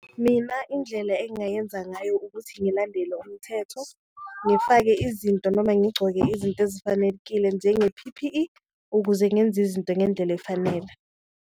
Mina indlela engayenza ngayo ukuthi ngilandele umthetho ngifake izinto noma ngigcoke izinto ezifanekile njenge-P_P_E, ukuze ngenze izinto ngendlela efanele.